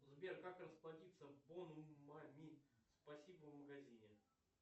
сбер как расплатиться бонусами спасибо в магазине